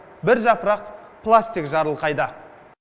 бір жапырақ пластик жарылқайды